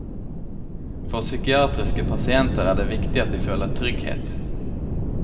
For psykiatriske pasienter er det viktig at de føler trygghet.